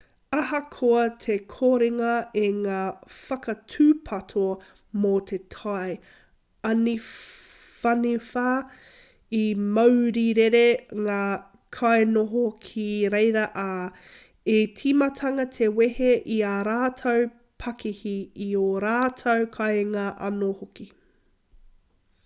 ahakoa te korenga o ngā whakatūpato mō te tai āniwhaniwha i maurirere ngā kainoho ki reira ā i timata te wehe i ā rātou pakihi i ō rātou kāinga anō hoki